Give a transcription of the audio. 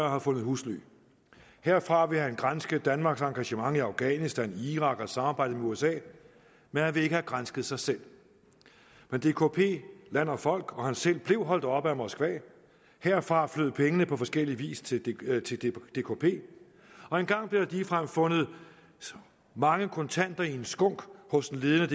har fundet husly herfra vil han granske danmarks engagement i afghanistan irak og samarbejdet med usa men han vil ikke have gransket sig selv men dkp land og folk og ham selv blev holdt oppe af moskva herfra flød pengene på forskellig vis til dkp og engang blev der ligefrem fundet mange kontanter i en skunk hos en ledende